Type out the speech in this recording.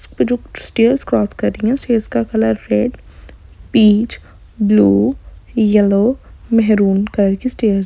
इस्पे जो stairs cross कर रही हैं उसका colour red peach blue yellow maroon करके स्टैर्स --